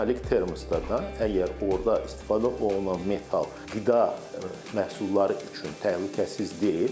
Metalik termoslarda əgər orda istifadə olunan metal qida məhsulları üçün təhlükəsiz deyil.